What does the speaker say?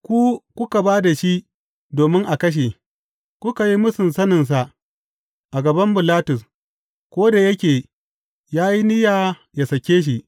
Ku kuka ba da shi domin a kashe, kuka yi mūsun saninsa a gaban Bilatus, ko da yake ya yi niyya ya sake shi.